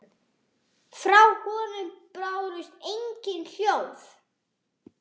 Frá honum bárust engin hljóð.